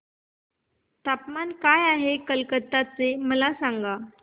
तापमान काय आहे कलकत्ता चे मला सांगा